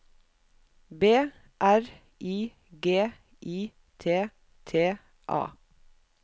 B R I G I T T A